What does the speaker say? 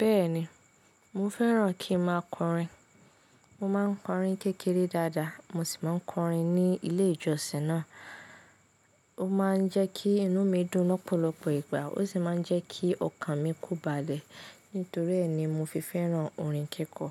Bẹ́ẹ̀ni, mo fẹ́ràn kí n máa kọrin. Mo máa ń kọrin ni kékeré dáadáa, mo sì máa ń kọrin ní ilé ìjọsìn náà. Ó máa ń jẹ́ kí inú mi dùn lọ́pọ̀lọpọ̀ ìgbà, ó sì máa ń jẹ́ kí ọkàn mi ko balẹ̀. Nítorí ẹ́ ni mo fi fẹ́ràn orin kíkọ.